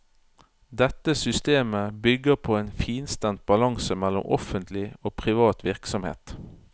Dette systemet bygger på en finstemt balanse mellom offentlig og privat virksomhet.